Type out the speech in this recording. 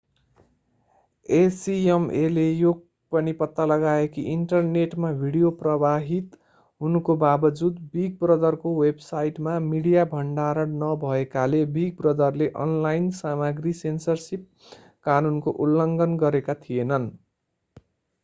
acmaले यो पनि पत्ता लगायो कि इन्टरनेटमा भिडियो प्रवाहित हुनुको बाबजुद बिग ब्रदरको वेबसाइटमा मिडिया भण्डारण नभएकाले बिग ब्रदरले अनलाइन सामग्री सेन्सरसिप कानुनको उल्लङ्घन गरेका थिएनन्।